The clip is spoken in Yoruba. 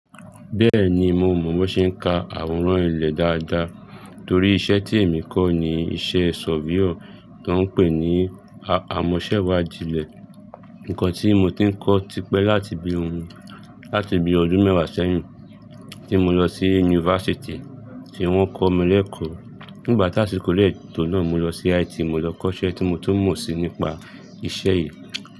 Bẹ́ẹ̀ni, mo mọ̀ bó ṣe ń ka àwòrán ilẹ̀ dáadáa torí iṣẹ́ tí èmi kọ́ ni iṣẹ́ sofíò tó ń pè ní amọ̀ṣẹ́wàdíilẹ̀. Ǹkan tí mo ti ń kọ́ tipẹ́ láti bí ọdún mẹ́wàá sẹ́yìn tí mo lọ sí yunifásítì tí wọ́n kọ́ mi lékòó. Nígbà tá a sì kó dẹ tò náà mo lọ sí IT, mo lọ kọ́ iṣẹ́ tí mo tún mọ̀ sí nípa iṣẹ́ yìí.